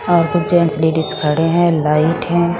वहां पर gents ladies खड़े हैं लाइट हैं।